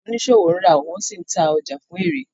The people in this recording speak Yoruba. Àwọn oniṣowo ǹra wọn si ǹta ọja fun éré.